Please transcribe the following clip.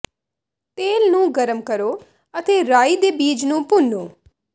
ਤੇਲ ਨੂੰ ਗਰਮ ਕਰੋ ਅਤੇ ਰਾਈ ਦੇ ਬੀਜ ਨੂੰ ਭੁੰਨੋ